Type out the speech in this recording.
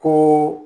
Ko